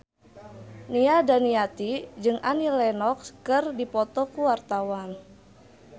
Nia Daniati jeung Annie Lenox keur dipoto ku wartawan